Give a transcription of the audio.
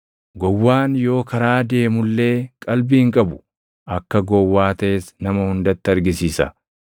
Gowwaan yoo karaa deemu illee qalbii hin qabu; akka gowwaa taʼes nama hundatti argisiisa.